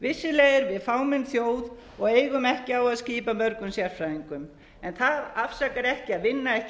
vissulega erum við fámenn þjóð og eigum ekki á að skipa mörgum sérfræðingum en það afsakar ekki að vinna ekki